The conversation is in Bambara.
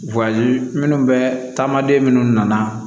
minnu bɛ taamaden minnu nana